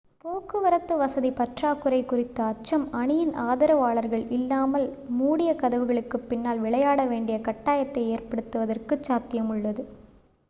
போக்குவரத்து வசதி பற்றாக்குறை குறித்த அச்சம் அணியின் ஆதரவாளர்கள் இல்லாமல் மூடிய கதவுகளுக்குப் பின்னால் விளையாட வேண்டிய கட்டாயத்தை ஏற்படுத்துவதற்குச் சாத்தியமுள்ளது